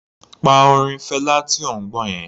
Pa orin Fela tí ò ń gbọ́ yẹn.